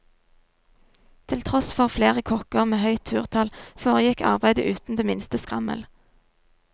Til tross for flere kokker med høyt turtall foregikk arbeidet uten det minste skrammel.